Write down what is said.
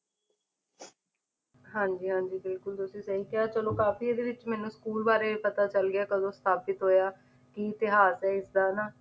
ਹਾਂਜੀ ਹਾਂਜੀ ਬਿਲਕੁਲ ਤੁਸੀ ਸਹੀ ਕਿਹਾ ਚਲੋ ਕਾਫੀ ਇਹਦੇ ਵਿੱਚ ਮੈਨੂੰ school ਬਾਰੇ ਪਤਾ ਚੱਲ ਗਿਆ ਕਦੋ ਸਥਾਪਿਤ ਹੋਇਆ ਕੀ ਇਤਿਹਾਸ ਹੈ ਇਸਦਾ ਹਨਾਂ